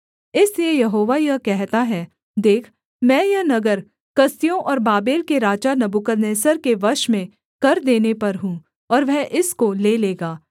इसलिए यहोवा यह कहता है देख मैं यह नगर कसदियों और बाबेल के राजा नबूकदनेस्सर के वश में कर देने पर हूँ और वह इसको ले लेगा